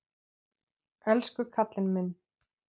Elsku kallinn minn.